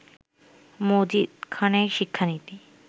মজিদ খানের শিক্ষানীতি